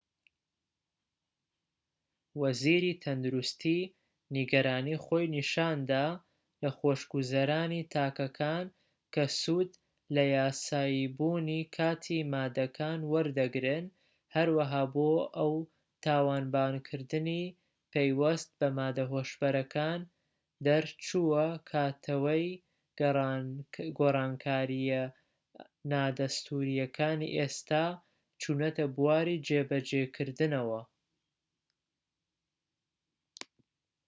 وەزیری تەندروستی نیگەرانی خۆی نیشاندا لە خۆشگوزەرانی تاکەکان کە سوود لە یاساییبوونی کاتی ماددەکان وەردەگرن هەروەها بۆ ئەو تاوانبارکردنی پەیوەست بە ماددە هۆشبەرەکان دەرچووە کاتەوەی گۆڕانکاریە نادەستووریەکانی ئێستا چوونەتە بواری جێبەجێکردنەوە